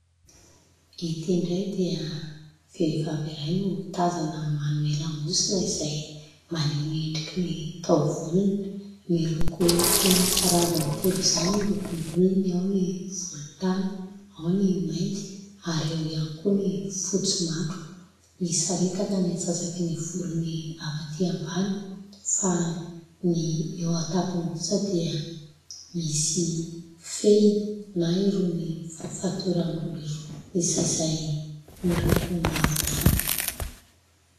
Ity indray dia vehivavy iray no tazana manome lamosina, izay maneho ny endriky ny taovolony. Miloko toy ny karazany telo izany ny lokom- bolony : ao ny volontany, ao ny mainty, ary eo ihany koa ny fotsy matroka. Misaritaka ny antsasaky ny volony avy aty ambany, fa ny eo an-tampony kosa dia misy fehiny na irony fatoram-bolo irony izay miloko mavorano.